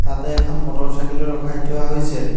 তাতে এখন motorcycle ও ৰখাই থোৱা হৈছে।